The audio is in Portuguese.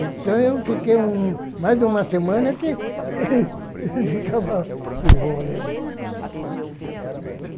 Então, eu fiquei mais de uma semana que ficava com óleo.